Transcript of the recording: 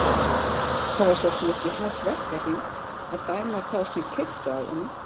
Það var svo sem ekki í hans verkahring að dæma þá sem keyptu af honum.